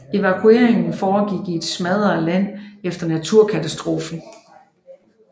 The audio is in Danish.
Evakueringen foregik i et smadret land efter naturkatastrofen